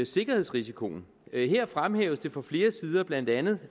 sikkerhedsrisikoen her fremhæves det fra flere sider blandt andet